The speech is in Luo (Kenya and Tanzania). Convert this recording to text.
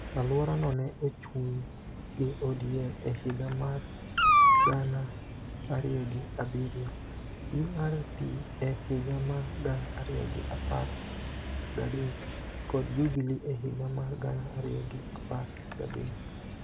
Aluorano ne ochung' gi ODM e higa mar gana ariyi gi abiriyo, URP e higa mar gana ariyo gi apar gadek, kod Jubili e higa mar gana ariyo gi apar gabiriyo.